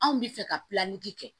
Anw bɛ fɛ ka pilaki kɛ